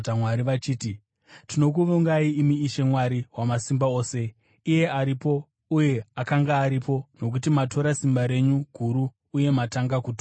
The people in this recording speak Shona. vachiti: “Tinokuvongai imi, Ishe Mwari Wamasimba Ose, Iye aripo uye akanga aripo, nokuti matora simba renyu guru uye matanga kutonga.